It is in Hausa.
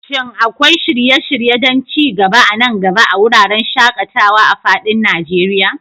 Shin akwai shirye-shirye don ci gaba a nan gaba a wuraren shaƙatawa a fadin Najeriya?